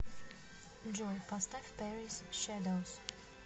джой поставь пэрис шэдоус